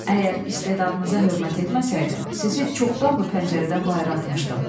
“Əgər istedadınıza hörmət etməsəydim, sizi çoxdan bu pəncərədən bayıra atmışdım.”